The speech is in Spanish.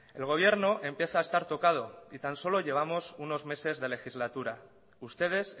el gobierno empieza a estar tocado y tan solo llevamos unos meses de legislatura ustedes